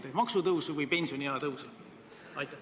Kas maksutõusu või pensioniea tõusu?